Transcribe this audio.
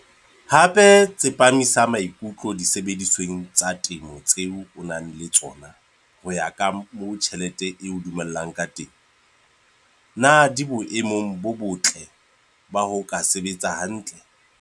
Hape tsepamisa maikutlo disebedisweng tsa temo tseo o nang le tsona ho ya ka moo tjhelete e o dumellang ka teng. Na di boemong bo botle ba ho ka sebetsa hantle?